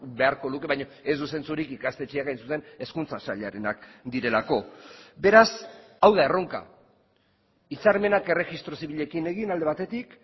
beharko luke baina ez du zentzurik ikastetxeak hain zuzen hezkuntza sailarenak direlako beraz hau da erronka hitzarmenak erregistro zibilekin egin alde batetik